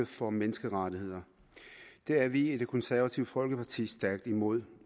for menneskerettigheder det er vi i det konservative folkeparti stærkt imod